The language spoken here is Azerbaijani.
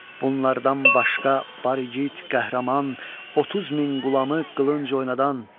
Bunlardan başqa var igid qəhrəman, 30 min qulamı qılınc oynadan.